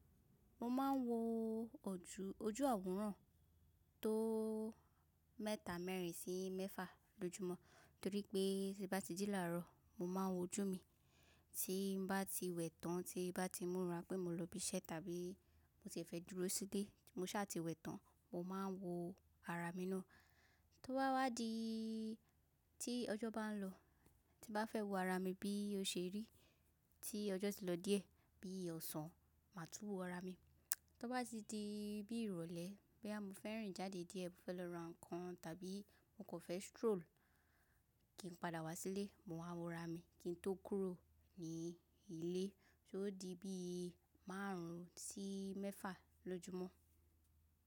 Mo máa ń wo ojú àwòrán tó mẹ́ta mẹ́rin sí mẹ́fà lójúmọ́ torí pé tí n bá ti jí làárọ̀, mo máa ń wo ojú mi, tí bá ti wẹ̀ tán tí bá ti múra pé mo lọ ibi iṣẹ́ tàbí mo ti fẹ́ dúró sílé, mo sá ti wẹ̀ tán, mo máa wo ara mi ná. Tí ó bá wá di tí ọjọ́ bá ń lọ, tí bá fẹ́ wo ara mi bí ó ṣe rí tí ọjọ́ ti lọ díẹ̀ bí ọ̀sán, màá tú wo ara mi. Tí ó bá ti di bí ìrọ̀lẹ́ bí a mo fẹ́ rìn jáde díẹ̀ mo fẹ́ lọ ra nǹkan tàbí mo kò fẹ́ stroll kí n padà wá sílé, mo máa wo ara mi kí n tó kúrò ní ilé só dí bí márùn ún sí mẹ́fà lójúmọ́.